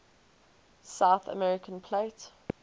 south american plate